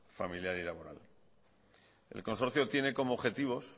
familiar y laboral el consorcio tiene como objetivos